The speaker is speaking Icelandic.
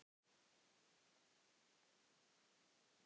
Ég tók þann litla fjólubláa úr bókaherberginu.